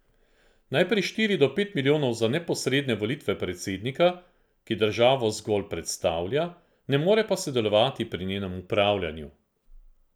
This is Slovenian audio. Najprej štiri do pet milijonov za neposredne volitve predsednika, ki državo zgolj predstavlja, ne more pa sodelovati pri njenem upravljanju.